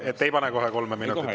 Et ei pane kohe kolme minutit?